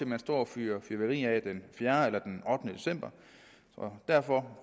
man står og fyrer fyrværkeri af den fjerde eller den ottende december og derfor